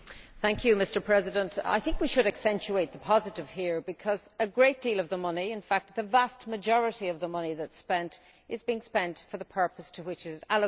Mr President, I think we should accentuate the positive here because a great deal of the money, in fact the vast majority of the money spent, is being spent for the purpose to which it is allocated.